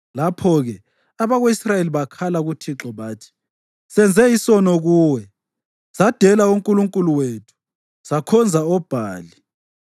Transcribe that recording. Lapho-ke abako-Israyeli bakhala kuThixo bathi, “Senze isono kuwe, sadela uNkulunkulu wethu sakhonza oBhali.”